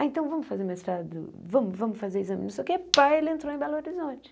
Ah, então vamos fazer mestrado, vamos vamos fazer exame, não sei o quê, pá, ele entrou em Belo Horizonte.